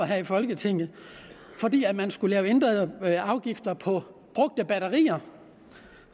her i folketinget fordi man skulle lave ændrede afgifter på brugte batterier